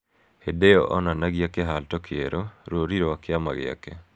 Hĩndĩ ĩyo onanagia kĩhato kĩerũ, rũũri rwa kĩama gĩake.